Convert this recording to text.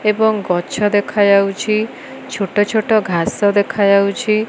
ଏବଂ ଗଛ ଦେଖାଯାଉଛି। ଛୋଟ ଛୋଟ ଘାସ ଦେଖାଯାଉଛି।